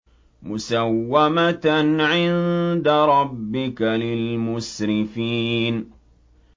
مُّسَوَّمَةً عِندَ رَبِّكَ لِلْمُسْرِفِينَ